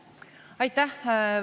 Aitäh!